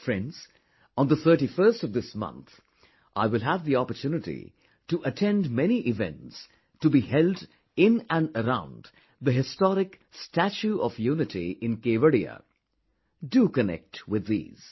Friends, on the 31stof this month, I will have the opportunity to attend many events to be held in and around the historic Statue of Unity in Kevadiya...do connect with these